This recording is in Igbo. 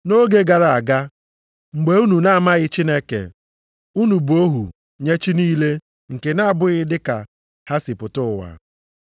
Nʼoge gara aga, mgbe unu na-amaghị Chineke, unu bụ ohu nye chi niile nke na-abụghị dịka ha si pụta ụwa.